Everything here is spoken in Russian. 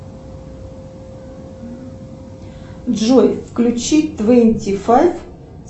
джой включи твенти файв